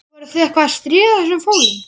Voruð þið eitthvað að stríða þessum fólum?